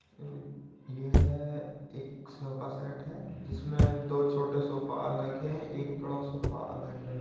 उ यह एक सोफा सेट है जिसमें दो छोटे सोफा अलग है। एक बड़ा सोफा अलग है।